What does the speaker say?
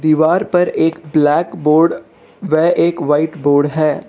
दीवार पर एक ब्लैक बोर्ड व एक व्हाइट बोर्ड है।